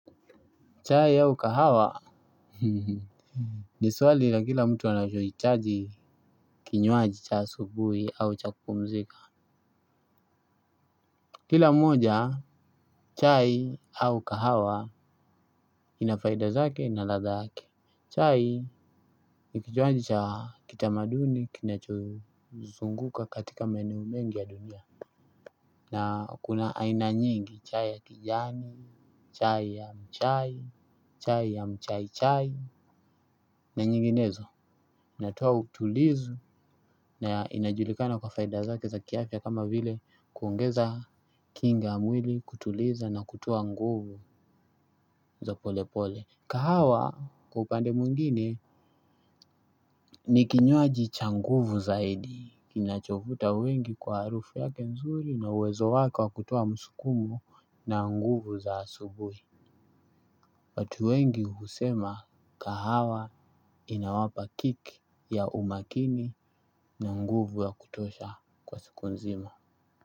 Chai au kahawa. Ni swali ia kila mtu ana chohitajii kinywaji cha asubuhi au cha kupumzika. Kila moja, chai au kahawa ina faida zake na ladha yake. Chai nikinywaji cha kitamaduni kinachozunguka katika maeneo mengi ya dunia. Na kuna aina nyingi chai ya kijani, chai ya mchai, chai ya mchai chai. Na nyinginezo. Natoa utulizu na inajulikana kwa faida zake za kiafya kama vile kuongeza kinga mwili kutuliza na kutwa nguvu za pole pole. Kahawa kwa upande mwngine ni kinywaji cha nguvu zaidi. Kina chovuta wengi kwa harufu yake nzuri na uwezo wake kutoa musukumu na nguvu za asubuhi. Watu wengi husema kahawa inawapa kiki ya umakini na nguvu ya kutosha kwa siku nzima.